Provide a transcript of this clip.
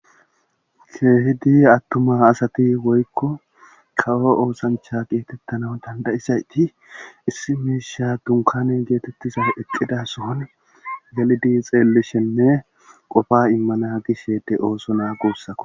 Keehidi attuma asati woykko kawo oosancha geetettana dandayisayti issi miisha dunkane geetettiza eqidason galidi xeellishenne qofa immana gishsheede ooso naa guussako